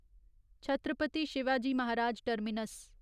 Chhatrapati Shivaji Maharaj terminus